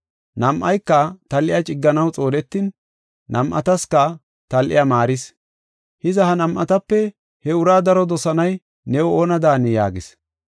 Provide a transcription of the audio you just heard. Nam7ayka tal7iya cigganaw xoonetin, nam7ataska tal7iya maaris. Hiza, ha nam7atape he uraa daro dosanay new oona daani” yaagis.